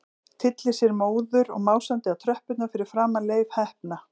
Tyllir sér móður og másandi á tröppurnar fyrir framan Leif heppna.